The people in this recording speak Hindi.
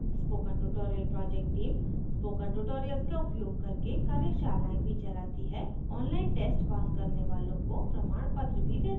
spoken tutorial project team spoken tutorial का उपयोग करके कार्यशालाएँ भी चलाती है ऑनलाइन टेस्ट पास करने वालों को प्रमाणपत्र भी देते हैं